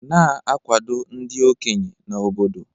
Na-akwado ndị okenye na obodo.